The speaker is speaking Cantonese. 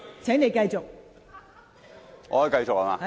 請你繼續發言。